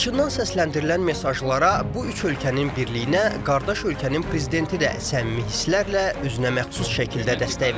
Laçından səsləndirilən mesajlara, bu üç ölkənin birliyinə qardaş ölkənin prezidenti də səmimi hisslərlə, özünəməxsus şəkildə dəstək verdi.